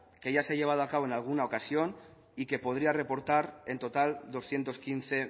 que ya se ha llevado a cabo en alguna ocasión y que podría reportar en total doscientos quince